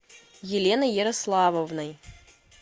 еленой ярославовной